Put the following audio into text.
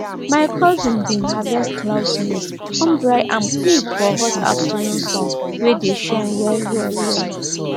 my cousin bin harvest cloud maize come dry am quick for hot afternoon sun wey dey shine well well well